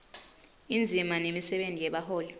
indzima nemisebenti yebaholi